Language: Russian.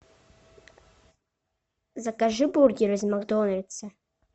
закажи бургеры из макдональдса